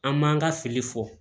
An m'an ka fili fɔ